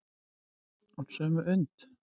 Úr sömu und.